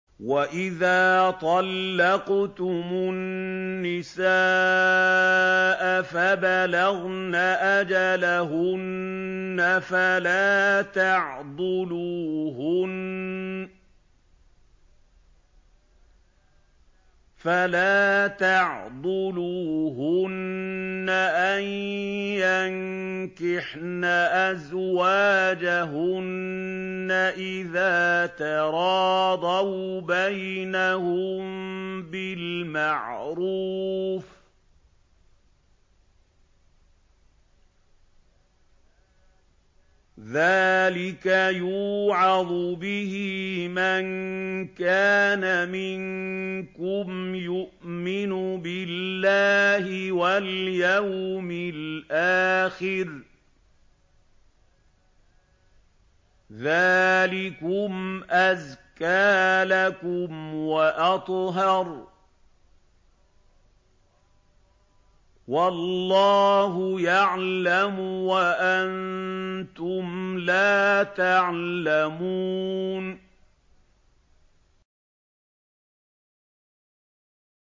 وَإِذَا طَلَّقْتُمُ النِّسَاءَ فَبَلَغْنَ أَجَلَهُنَّ فَلَا تَعْضُلُوهُنَّ أَن يَنكِحْنَ أَزْوَاجَهُنَّ إِذَا تَرَاضَوْا بَيْنَهُم بِالْمَعْرُوفِ ۗ ذَٰلِكَ يُوعَظُ بِهِ مَن كَانَ مِنكُمْ يُؤْمِنُ بِاللَّهِ وَالْيَوْمِ الْآخِرِ ۗ ذَٰلِكُمْ أَزْكَىٰ لَكُمْ وَأَطْهَرُ ۗ وَاللَّهُ يَعْلَمُ وَأَنتُمْ لَا تَعْلَمُونَ